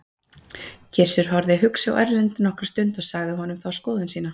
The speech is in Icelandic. Gizur horfði hugsi á Erlend nokkra stund og sagði honum þá skoðun sína.